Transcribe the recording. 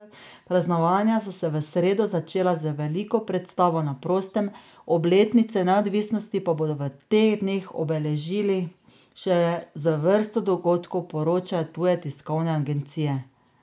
Praznovanja so se v sredo začela z veliko predstavo na prostem, obletnico neodvisnosti pa bodo v teh dneh obeležili še z vrsto dogodkov, poročajo tuje tiskovne agencije.